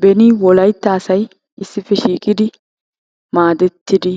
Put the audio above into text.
Beni Wolaytta asay issippe shiiqidi maaddeti